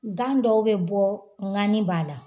Gan dɔw bɛ bɔ ŋani b'a la